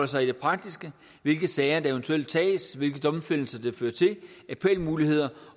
sig i det praktiske hvilke sager der eventuelt tages hvilke domfældelser det fører til appelmuligheder